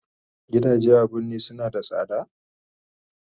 Gidaje a birni suna da sada?